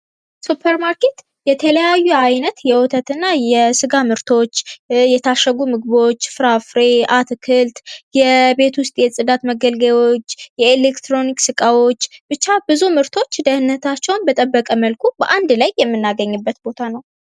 ሱፐር ማርኬት የተለያዩ አይነት የወተት እና የስጋ ምርቶች የታሸጉ ምግቦች ፍራፍሬ አትክልት የቤት ውስጥ የፅዳት መገልገያዎች የኤሌትሮኒክስ እቃዎች ብቻ ብዙ ምርቶች ደህንነታቸውን በጠበቀ መልኩ በአንድ ላይ የምናገኝበት ቦታ ነው ።